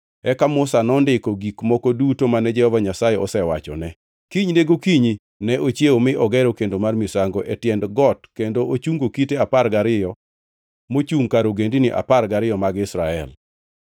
Eka Musa nondiko gik moko duto mane Jehova Nyasaye osewachone. Kinyne gokinyi ne ochiewo mi ogero kendo mar misango e tiend got kendo ochungo kite apar gariyo mochungʼ kar ogendini apar gariyo mag Israel.